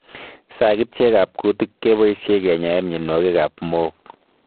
Sagityek ab kutiik kepasyei kenyaee mionwokik ab mook